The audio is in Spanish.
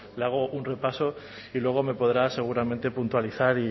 le hago un repaso y luego me podrá seguramente puntualizar